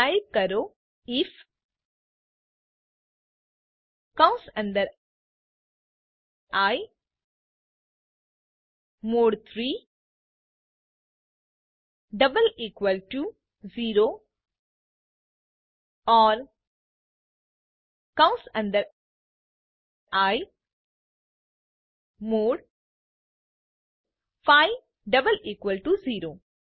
તો ટાઇપ કરો આઇએફ કૌંસ અંદર i mod 3 double equal to 0 or કૌંસ અંદર i mod 5 double equal to 0